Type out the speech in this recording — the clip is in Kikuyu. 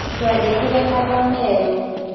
Twandĩkĩre marũa Meru